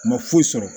U ma foyi sɔrɔ